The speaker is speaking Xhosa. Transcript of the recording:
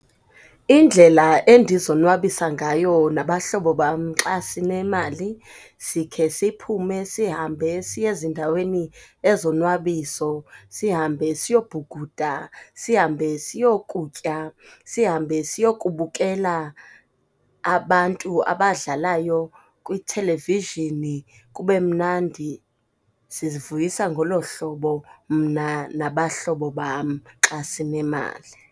Indlela endizonwabisa ngayo nabahlobo bam xa sinemali, sikhe siphume sihambe siye ezindaweni ezonwabiso. Sihambe siyobhukuda, sihambe siyokutya, sihambe siyokubukela abantu abadlalayo kwi-television, kube mnandi. Sizivuyisa ngolo hlobo mna nabahlobo bam xa sinemali.